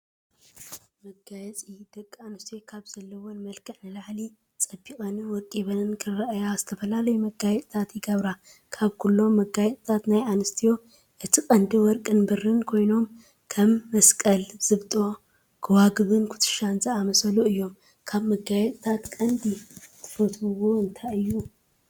መጋየፂ፡- ደቂ ኣንስትዮ ካብቲ ዘለዎን መልክዕ ንላዕሊ ፀቢቐንን ወቂበንን ክረአያ ዝተፈላለዩ መጋየፂታት ይገብራ፡፡ ካብኩሎም መጋየፅታት ናይ ኣንስትዮ እቲ ቀንዲ ወርቅን ብሩን ኮይኖም ከም መስቀል፣ ዝብጦ ጎባጉብን ኩትሻን ዝኣመሰሉ እዮም፡፡ ካብ መጋፂታት ቀንዲ ትፈትዎኦ እንታይ እዩ?